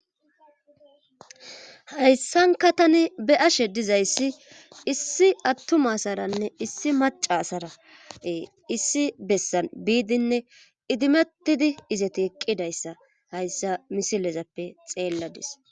Hayssanka tani be ashe dizayssi issi attuma saranne issi macasarae issi bessan biidinne idimettidi izeti iqqidayssa hayssa misilezappe xeelladis.